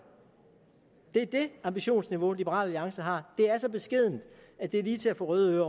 det er det ambitionsniveau liberal alliance har det er så beskedent at det er lige til at få røde ører